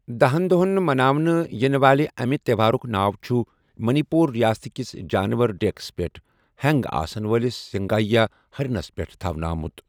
دَہن دوہن مناونہٕ یِنہٕ والہِ امہِ تیوہارٗك ناو چھٗ منی پوٗر رِیاست كِس جانور ڈیكس پیٹھ ہینگ آسن وٲِلس سنگایہ ہرنس پیٹھ تھونہٕ آمٗت ۔